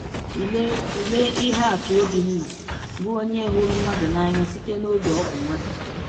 Tụlee Tụlee ihe atụ Obinna, bụ onye hụrụ mmadụ n’anya site n’oge ọ bụ nwata.